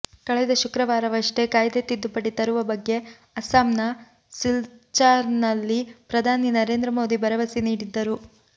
ಕಳೆದ ಶುಕ್ರವಾರವಷ್ಟೇ ಕಾಯ್ದೆ ತಿದ್ದುಪಡಿ ತರುವ ಬಗ್ಗೆ ಅಸ್ಸಾಂನ ಸಿಲ್ಚಾರ್ನಲ್ಲಿ ಪ್ರಧಾನಿ ನರೇಂದ್ರ ಮೋದಿ ಭರವಸೆ ನೀಡಿದ್ದರು